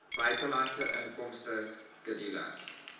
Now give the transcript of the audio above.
buitelandse inkomste skedule